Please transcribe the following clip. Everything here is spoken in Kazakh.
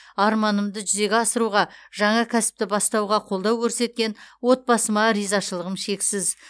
арманымды жүзеге асыруға жаңа кәсіпті бастауға қолдау көрсеткен отбасыма ризашылығым шексіз